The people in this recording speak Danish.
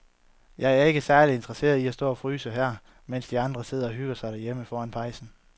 Jeg er ikke særlig interesseret i at stå og fryse her, mens de andre sidder og hygger sig derhjemme foran pejsen.